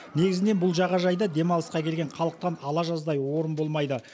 негізінен бұл жағажайда демалысқа келген халықтан ала жаздай орын болмайды